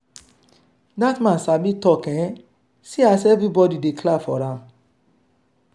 dat man sabi talk eh see as everybody dey clap for am.